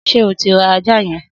Sé o ti ra àjá yen?